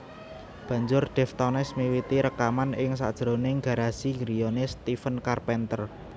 Banjur Deftones miwiti rekaman ing sajroning garasi griyane Stephen Carpenter